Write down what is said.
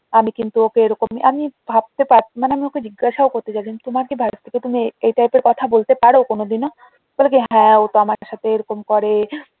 আমি কিন্তু ওকে এরকমই আমি ভাবতে পার মানে আমি ওকে জিজ্ঞাসাও করতে চাইছিলাম তোমার কি ভাস্তি কে তুমি এই type এর কথা বলতে পারো কোনোদিনও? বলে কি হ্যাঁ ও তো আমার সাথে এরকম করে